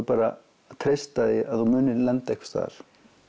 bara að treysta því að þú munir lenda einhvers staðar